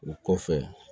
O kɔfɛ